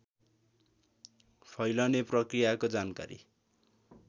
फैलने प्रकृयाको जानकारी